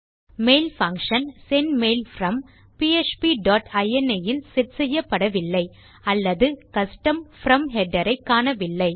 mail function send mail from PHP dot ini இல் set செய்யப்படவில்லை அல்லது கஸ்டம் From ஹெடர் ஐ காணவில்லை